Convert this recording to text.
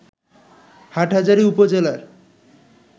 হাটহাজারী উপজেলার